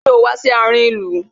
Ṣé o wá sí àárin ìlú?